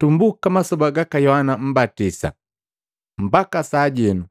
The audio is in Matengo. Tumbuka masoba gaka Yohana Mmbatisa mbaka sajenu,